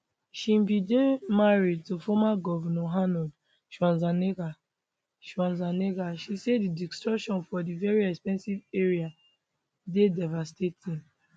she bin dey married to former govnor arnold schwarzenegger schwarzenegger she say di destruction for di very expensive area dey devastating